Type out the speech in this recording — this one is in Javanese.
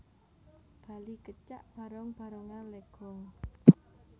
Bali Kecak Barong Barongan Legong